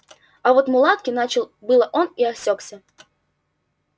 а вот мулатки начал было он и осекся